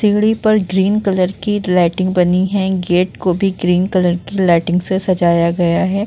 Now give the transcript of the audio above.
तिगड़ी पर green colour की lighting बनी है। गेट को भी ग्रीन कलर की लाइटिंग से सजाया गया है।